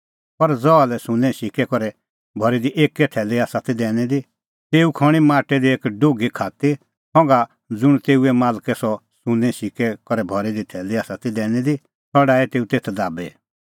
पर ज़हा लै सुन्नें सिक्कै करै भरी दी एक्कै थैली आसा ती दैनी दी तेऊ खण्हीं माटै दी एक डुघी खात्ती संघा ज़ुंण तेऊए मालकै सह सुन्नें सिक्कै करै भरी थैली आसा ती दैनी दी सह डाही तेऊ तेथ दाबी